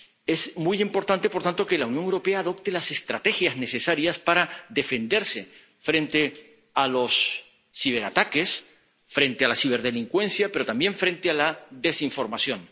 Es muy importante, por lo tanto, que la Unión Europea adopte las estrategias necesarias para defenderse frente a los ciberataques, frente a la ciberdelincuencia, pero también frente a la desinformación.